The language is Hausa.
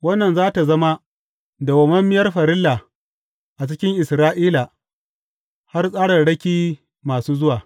Wannan za tă zama dawwammamiyar farilla a cikin Isra’ila har tsararraki masu zuwa.